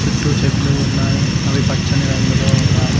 చుట్టూ చెట్లు ఉన్నాయి అవి పచ్చని రంగులో ఉన్నాయ్.